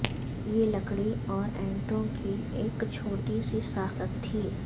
یہ لکڑی اور اینٹوں کی ایک چھوٹی سی ساخت تھی